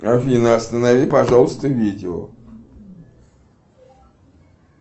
афина останови пожалуйста видео